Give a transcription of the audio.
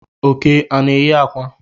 Oke ana enyi akwa?